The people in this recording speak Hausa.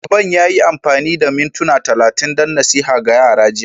Shugaban ya yi amfani da mintuna talatin don nasiha ga yara jiya